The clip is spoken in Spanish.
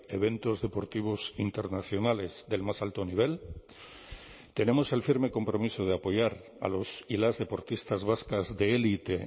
eventos deportivos internacionales del más alto nivel tenemos el firme compromiso de apoyar a los y las deportistas vascas de élite